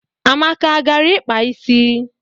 Amaka agara ịkpa isi?